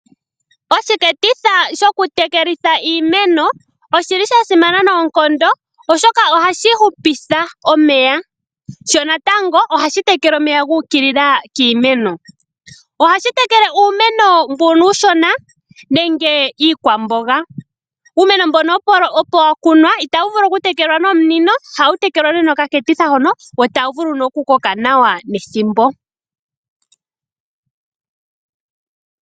Oshiketitha shoku tekelitha iimeno oshili sha simana noonkondo oshoka ohashi hupitha omeya. Sho natango ohashi tekele omeya gu ukilila kiimeno. Ohashi tekele uumeno mbono uushona nenge iikwamboga. Uumeno mbono opo wa kunwa itawu vulu oku tekelwa no munino, ohawu tekelwa nduno no kaketitha hono wo tawu vulu nee oku koka nawa nethimbo